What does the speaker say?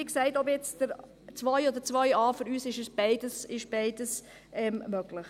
Wie gesagt: Ob 2 oder 2.a, für uns ist beides möglich.